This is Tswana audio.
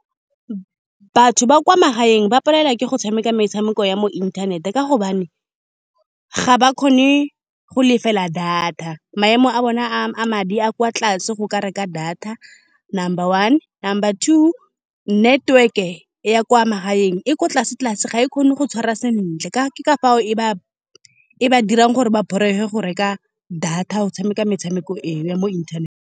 Batho ba kwa magaeng ba palelwa ke go tshameka metshameko ya mo inthanete, ka gobane ga ba kgone go lefela data. Maemo a bona a-a madi a kwa tlase go ka reka data. Number one, number two, network-e ya kwa magaeng e ko tlase-tlase, ga e kgone go tshwara sentle. Ka ke ka fao e ba, e ba dirang gore ba borege go reka data go tshameka metshameko eo ya mo inthanete.